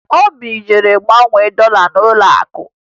Obi jere ịgbanwe dọla ya n'ụlọakụ